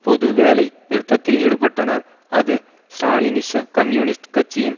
பொது வேலை நிறுத்தத்தில் ஈடுபட்டனர் அது ஸ்ராலினிச கம்யூனிஸ்ட் கட்சியின்